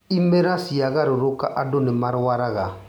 Imera ciagarũrũka andũ nĩmarwaraga